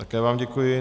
Také vám děkuji.